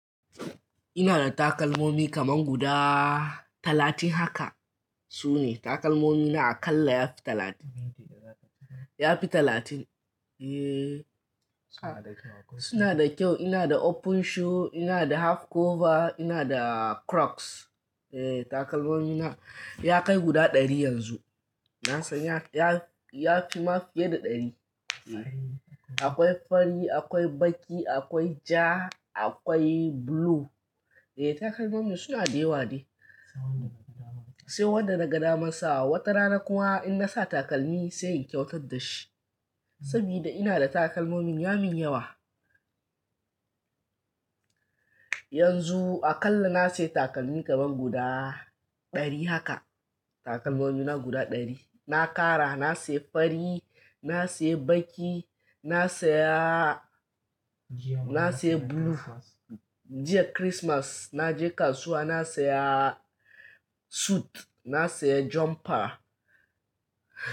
Ina da takalmomi kamar guda talatin haka. Su ne takalmomi na a kalla ya fi talatin, ya fi talatin. Eh suna da kyau. Ina da open shoe, ina da half cover, ina da Crocs. Eh takalmomi na ya kai guda ɗari yanzu. Nasan ya ya, ya fi ma fiye da ɗari. Akwai fari, akwai baƙi, akwai ja, akwai blue. Eh takalmomi suna da yawa dai. Sai wanda naga daman sawa. Wata rana kuma in nasa takalmi sai in kyautar da shi. Saboda ina da takalmomi ya min yawa. Yanzu a kalla na sayi takalmi kamar guda ɗari haka. Takalmomi na guda ɗari. Na ƙara na sayi fari, na sayi baƙi, na saya, na sayi blue. Jiya Kirismas na je kasuwa na saya suit, na saya jumper.